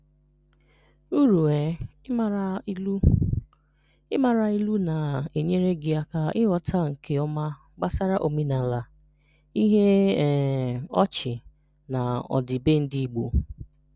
Uru um Ịmara Ilu: Ịmara ilu na-enyere gị aka ịghọta nke ọma gbasara omenala, ihe um ọchị, na ọdịbendị Igbo.